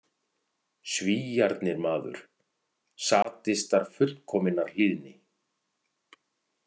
Svíarnir, maður, sadistar fullkominnar hlýðni.